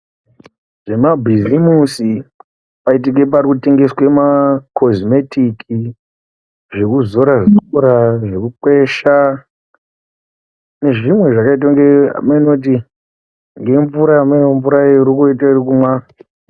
Zvemabhizimusi paitike parikutengeswa makozimetiki. Zvekuzora zvekukwesha nezvimwe zvakaitenge haeno kuti nemvura inoite kunga iri kumwa.